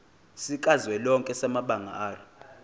sikazwelonke samabanga r